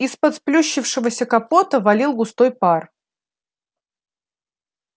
из-под сплющившегося капота валил густой пар